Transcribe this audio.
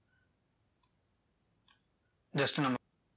just நம்ம